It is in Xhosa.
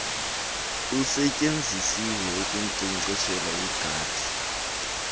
usetyenzisiweyo ukunkcenkceshela igadi